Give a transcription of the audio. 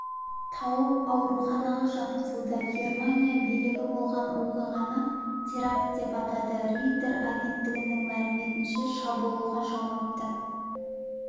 тауып ауруханаға жатқызылды германия билігі болған оқиғаны теракт деп атады рейтер агенттігінің мәліметінше шабуылға жауапты